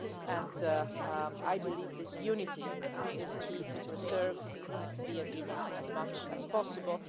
And I believe this unity is key to preserve the agreements as much as possible.